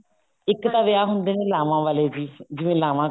ਇੱਕ ਤਾਂ ਵਿਆਹ ਹੁੰਦੇ ਨੇ ਲਾਵਾਂ ਵਾਲੇ ਜੀ ਜਿਵੇਂ ਲਾਵਾਂ